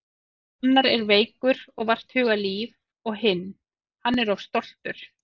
Annar er veikur og vart hugað líf og hinn. hann er of stoltur.